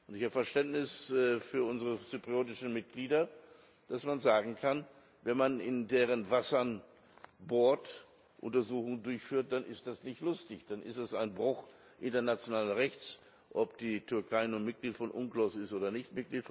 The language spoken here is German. Ich habe Verständnis für unsere zyprischen Mitglieder, man kann sagen, wenn man in deren Wassern bohrt, Untersuchungen durchführt, dann ist das nicht lustig, dann ist das ein Bruch internationalen Rechts, ob die Türkei nun Mitglied des UNCLOS ist oder nicht.